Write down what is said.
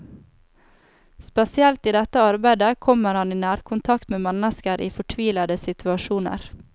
Spesielt i dette arbeidet kommer han i nærkontakt med mennesker i fortvilede situasjoner.